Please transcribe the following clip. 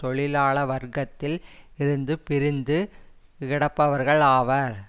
தொழிலாள வர்க்கத்தில் இருந்து பிரிந்து கிடப்பவர்கள் ஆவர்